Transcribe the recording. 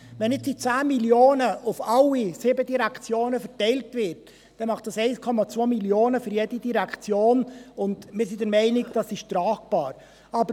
Wenn die 10 Mio. Franken auf alle sieben Direktionen verteilt werden, ergibt das 1,2 Mio. Franken für jede Direktion, und wir sind der Meinung, dass dies tragbar ist.